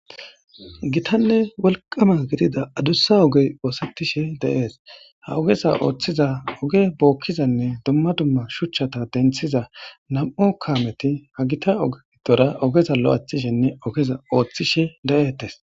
gitanne wolqama gidida adussa ogey oosetishe deees ha ogesa ooththiza oge bookkizanne dumma dumma shuchchata denthiza nam'u kaameti ha gita ogtora ogeza lo'athishenne ogeza ooththishe de'ettes.